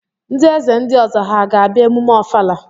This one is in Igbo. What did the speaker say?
Ndị eze ndị ọzọ ha ga-abịa emume ọfala?